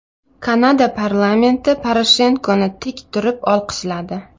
Kanada parlamenti Poroshenkoni tik turib olqishladi .